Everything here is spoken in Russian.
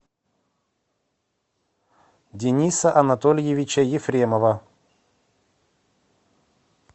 дениса анатольевича ефремова